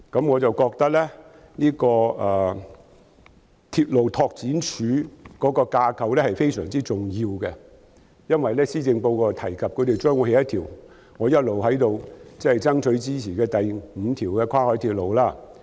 我認為鐵路拓展處的架構非常重要，因為施政報告提及將會興建一條我一直爭取興建的第五條跨海鐵路。